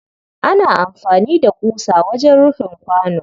ana amfani da ƙusa wajen rufin kwano.